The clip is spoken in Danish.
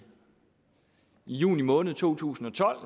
juni måned to tusind og tolv